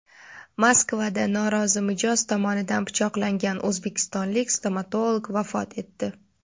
Moskvada norozi mijoz tomonidan pichoqlangan o‘zbekistonlik stomatolog vafot etdi.